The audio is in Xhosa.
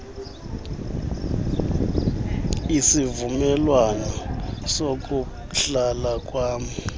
isivumelwano sokuhlala kwam